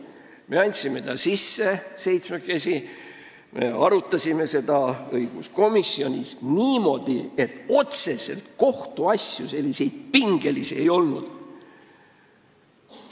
Me andsime selle seitsmekesi sisse ja me arutasime seda õiguskomisjonis niimoodi, et otseselt pingelisi kohtuasju ei olnud.